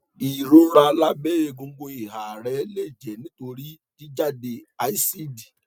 ìrora lábẹ egungun ìhà rẹ lè jẹ nítorí jíjáde àsídì